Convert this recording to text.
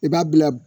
I b'a bila